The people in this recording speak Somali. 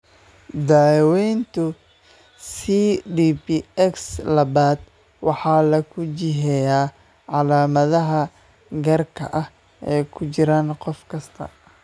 Daaweynta CDPX labaad waxaa lagu jiheeyaa calaamadaha gaarka ah ee ku jira qof kasta.